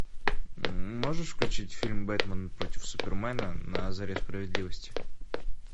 можешь включить фильм бэтмен против супермена на заре справедливости